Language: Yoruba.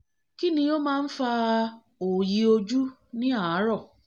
kí ni ó máa ń fa òòyì ojú ní àárọ̀